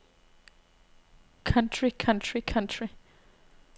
country country country